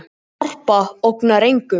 Harpa ógnar engum